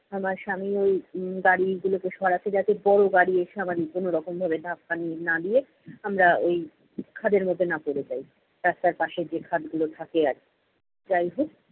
আমার স্বামী ঐ উম গাড়িগুলোকে সরাচ্ছে যাতে বড় গাড়ি এসে আবার কোনো রকম ভাবে ধাক্কা না দিয়ে, আমরা ঐ খাদের মধ্যে না পড়ে যাই, রাস্তার পাশে যে খাদগুলো থাকে আর কী। যাই হোক